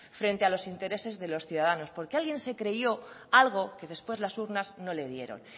frente a los intereses de los ciudadanos porque alguien se creyó algo que después las urnas no le dieron